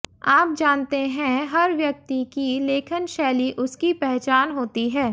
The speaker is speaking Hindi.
आप जानते हैं हर व्यक्ति की लेखन शैली उसकी पहचान होती है